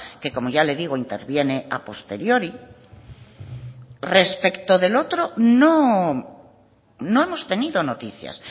que como ya le digo interviene a posteriori respecto del otro no hemos tenido noticias